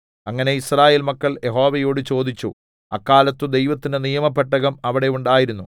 അങ്ങനെ യിസ്രായേൽ മക്കൾ യഹോവയോട് ചോദിച്ചു അക്കാലത്ത് ദൈവത്തിന്റെ നിയമപെട്ടകം അവിടെ ഉണ്ടായിരുന്നു